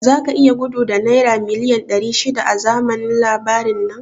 Zaka iya gudu da naira miliyan ɗari shida a zamanin labarin nan?